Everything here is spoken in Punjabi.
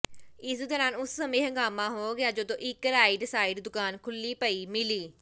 ਇਸ ਦੌਰਾਨ ਉਸ ਸਮੇਂ ਹੰਗਾਮਾ ਹੋ ਗਿਆ ਜਦੋਂ ਇਕ ਰਾਈਡ ਸਾਈਡ ਦੁਕਾਨ ਖੁੱਲੀ ਪਈ ਮਿਲੀ